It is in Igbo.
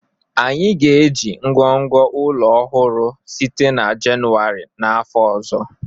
Anyị ga-eji ngọngọ ụlọ ọrụ ọhụrụ site na Jenụwarị n'afọ ọzọ